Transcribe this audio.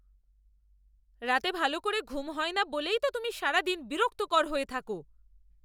রাতে ভালো ঘুম হয় না বলেই তো তুমি সারাদিন বিরক্তকর হয়ে থাকো।